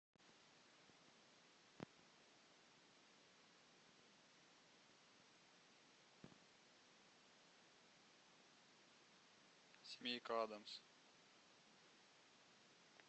семейка адамс